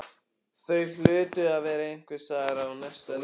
Þau hlutu að vera einhvers staðar á næsta leiti.